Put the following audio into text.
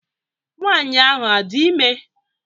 Nwaanyị ahụ a dị ime?